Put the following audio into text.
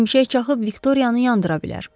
Şimşək çaxıb Viktoriyanı yandıra bilər.